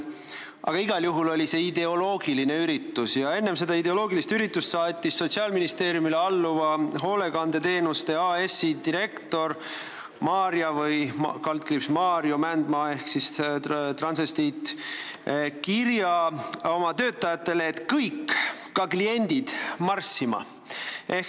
Aga igal juhul oli see ideoloogiline üritus ja enne seda ideoloogilist üritust saatis Sotsiaalministeeriumile alluva Hoolekandeteenuste AS-i direktor Maarja/Maarjo Mändmaa ehk siis transvestiit kirja oma töötajatele, et kõik, ka kliendid, mingu marssima.